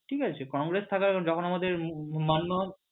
ঠিক আছে কংগ্রেস থাকায় যখন আমাদের